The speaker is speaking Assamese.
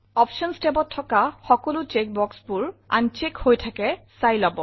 অপশ্যনছ tabত থকা চেক boxবোৰত clickযাতে নাই চাই লব